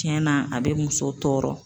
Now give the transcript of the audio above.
Tiɲɛna a bɛ muso tɔɔrɔ